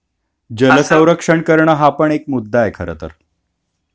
जल सौरक्षण करण हा पण एक मुद्दा आहे खर तर